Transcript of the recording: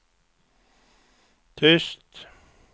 tyst